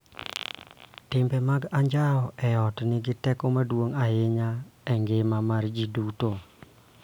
Timbe mag anjao e ot nigi teko maduong� ahinya e ngima mar ji duto